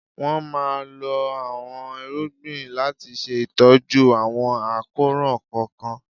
Wọ́n máa lo àọn irúgbìn láti ṣe ìtọ́jú àwọn àkóràn kọ̀ọ̀kan.